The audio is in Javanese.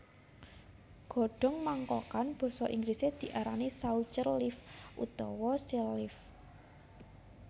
Godhong mangkokan basa Inggrisé diarani saucher leaf utawa sell leaf